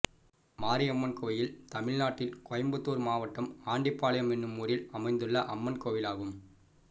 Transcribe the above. மாரியம்மன் கோயில் தமிழ்நாட்டில் கோயம்புத்தூர் மாவட்டம் ஆண்டிபாளையம் என்னும் ஊரில் அமைந்துள்ள அம்மன் கோயிலாகும்